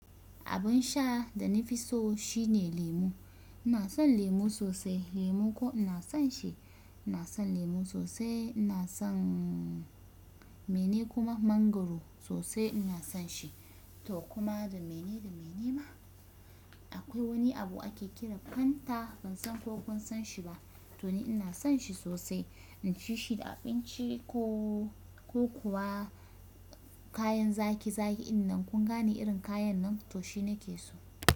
Abin sha da na fi so shine lemu. Ina son lemu sosai. Lemu ko ina son shi. Ina son lemu sosai. Ina son mene kuma mangwaro sosai ina son shi to kuma da mene da mene ma akwai wani abu ake kira Fanta ban san ko kun san shi ba to ni ina son shi sosai. In ci shi da abinci ko ko kuwa kayan zaki zaki idan kun gane irin kayan nan to shi ne ke so.